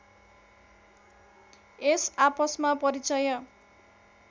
यस आपसमा परिचय